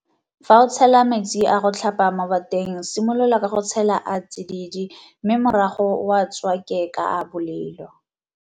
Fa o tshela metsi a go tlhapa mo bateng simolola ka go tshela a a tsididi mme morago o a tswake ka a a bolelo.